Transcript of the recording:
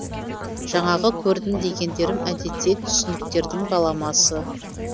жаңағы көрдім дегендерім әдетте түсініктердің баламасы